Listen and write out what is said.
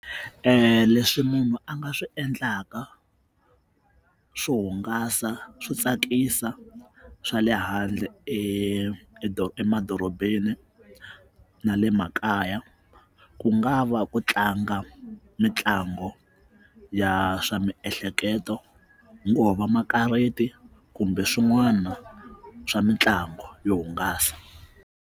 Leswi munhu a nga swi endlaka swo hungasa swo tsakisa swa le handle emadorobeni na le makaya ku nga va ku tlanga mitlango ya swa miehleketo ngo va makarati kumbe swin'wana swa mitlangu yo hungasa.